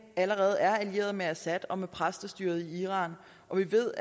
allerede er allieret med assad og med præstestyret i iran og vi ved